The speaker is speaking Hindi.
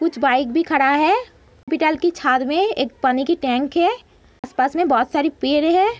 कुछ बाइक भी खड़ा है पिटल के छात में एक पानी की टैंक है आस-पास में बहोत सारी पेर हैं।